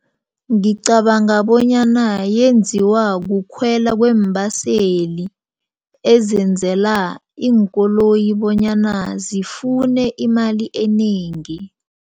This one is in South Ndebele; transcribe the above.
Ngicabanga bonyana yenziwa kukhwela kweembaseli ezenzela iinkoloyi bonyana zifune imali enengi.